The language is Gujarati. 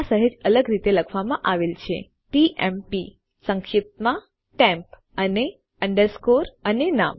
આ સહેજ અલગ રીતે લખવામાં આવેલ છે ટીએમપી સંક્ષિપ્તમાં ટેમ્પ અને અંડરસ્કોર અને નામ